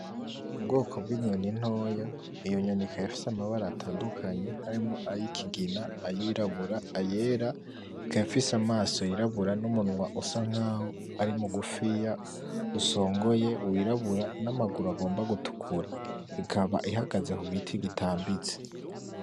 Ubwoko bw'inyoni ntoya, iyo nyoni ikaba ifise amabara atandukanye harimwo ayikigina, ayirabura, ayera ikaba ifise amaso yirabura n'umunwa usa nkaho ari mugufiya usongoye wirabura n'amaguru agomba gutukura ikaba ihagaze ku giti gitambitse.